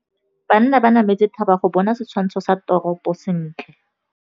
Banna ba nametse thaba go bona setshwantsho sa toropô sentle.